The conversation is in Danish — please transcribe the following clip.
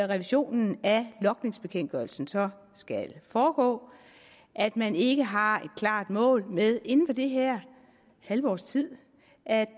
revisionen af logningsbekendtgørelsen så skal foregå at man ikke har et klart mål med inden for det her halve års tid at